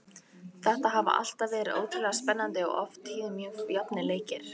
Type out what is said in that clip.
Þetta hafa alltaf verið ótrúlega spennandi og oft á tíðum mjög jafnir leikir.